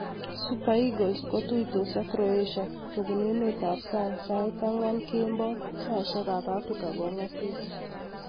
Super Eagles kotuitos ak Croatia kobun emet ab sangsait angwan kemboi saishiek ab Africa kong'asis.